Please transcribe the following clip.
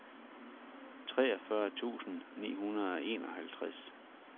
treogfyrre tusind ni hundrede og enoghalvtreds